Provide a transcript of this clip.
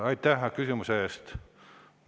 Aitäh küsimuse eest!